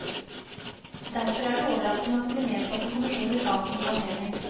Derfor er det overraskende at det blir nedsatt en kommisjon i sakens anledning.